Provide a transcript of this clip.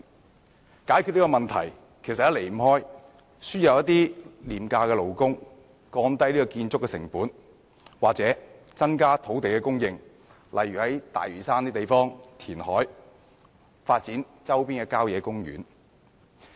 要解決這個問題，方法不外乎輸入廉價勞工、降低建築成本或增加土地供應，例如在大嶼山填海和發展周邊的郊野公園。